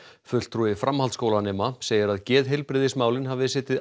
fulltrúi framhaldsskólanema segir að geðheilbrigðismálin hafi setið